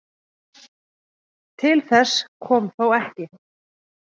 Til þess kom þó ekki